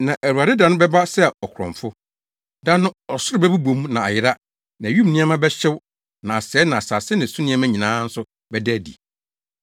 Na Awurade da no bɛba sɛ ɔkorɔmfo. Da no, ɔsoro bɛbobɔ mu na ayera na wim nneɛma bɛhyew na asɛe na asase ne so nneɛma nyinaa nso bɛda adi.